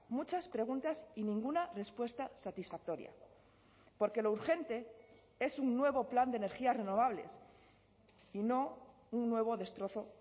muchas preguntas y ninguna respuesta satisfactoria porque lo urgente es un nuevo plan de energías renovables y no un nuevo destrozó